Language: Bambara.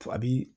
A bi